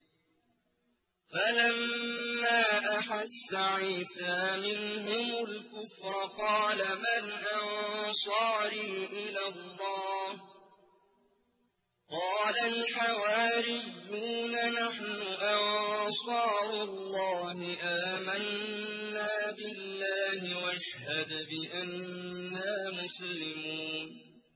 ۞ فَلَمَّا أَحَسَّ عِيسَىٰ مِنْهُمُ الْكُفْرَ قَالَ مَنْ أَنصَارِي إِلَى اللَّهِ ۖ قَالَ الْحَوَارِيُّونَ نَحْنُ أَنصَارُ اللَّهِ آمَنَّا بِاللَّهِ وَاشْهَدْ بِأَنَّا مُسْلِمُونَ